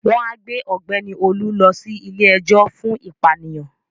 Wọ́n á gbé Ọ̀gbẹ́ni Olú lọ sí ilé-ejò fún ìpànìyàn